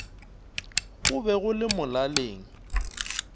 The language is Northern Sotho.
go be go le molaleng